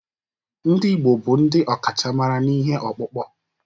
Ndị Igbo bụ ndị ọkachamara n'ihe ọkpụkpụ